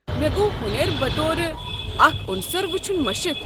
مےٚ گوٚو ہُنٮ۪ر بطور اكھ عنصر وٕچھن مشِتھ۔